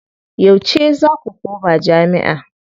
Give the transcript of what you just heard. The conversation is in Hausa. Yauce za ku koma jami'a?